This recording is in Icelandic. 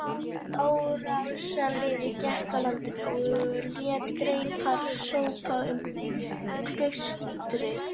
Árásarliðið gekk á land og lét greipar sópa um klaustrið.